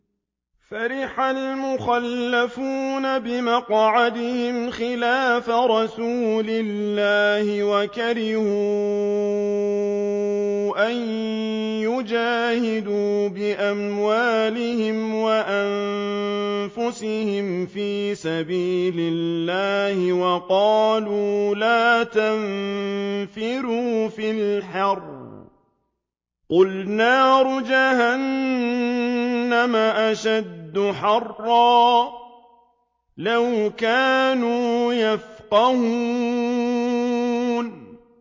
فَرِحَ الْمُخَلَّفُونَ بِمَقْعَدِهِمْ خِلَافَ رَسُولِ اللَّهِ وَكَرِهُوا أَن يُجَاهِدُوا بِأَمْوَالِهِمْ وَأَنفُسِهِمْ فِي سَبِيلِ اللَّهِ وَقَالُوا لَا تَنفِرُوا فِي الْحَرِّ ۗ قُلْ نَارُ جَهَنَّمَ أَشَدُّ حَرًّا ۚ لَّوْ كَانُوا يَفْقَهُونَ